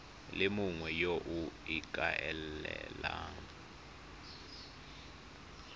le mongwe yo o ikaelelang